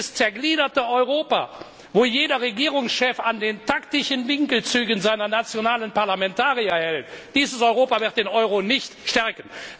Dieses zergliederte Europa, wo jeder Regierungschef an den taktischen Winkelzügen seiner nationalen Parlamentarier festhält, dieses Europa wird den Euro nicht stärken!